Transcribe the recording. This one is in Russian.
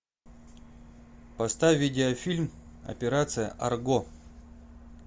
поставь видеофильм операция арго